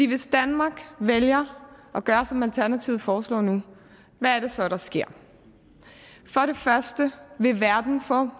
hvis danmark vælger at gøre som alternativet foreslår nu hvad er det så der sker for det første vil verden få